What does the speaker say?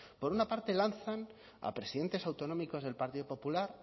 por una parte lanzan a presidentes autonómicos del partido popular